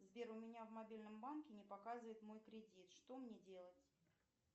сбер у меня в мобильном банке не показывает мой кредит что мне делать